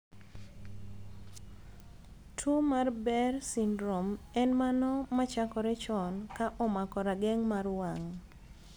Tuo mar Behr syndrome en mano machakore chon ka omako rageng' mar wang'